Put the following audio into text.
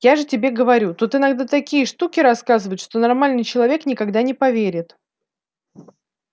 я же тебе говорю тут иногда такие штуки рассказывают что нормальный человек никогда не поверит